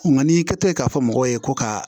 Nka n'i kɛtɔ ye k'a fɔ mɔgɔw ye ko ka